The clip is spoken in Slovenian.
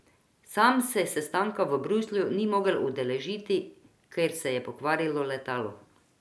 Sam se sestanka v Bruslju ni mogel udeležiti, ker se je pokvarilo letalo.